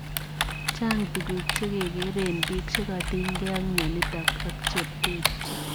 Chang tuguk chekekeree eng piik chekatinygei ak mionitok ak terterchin.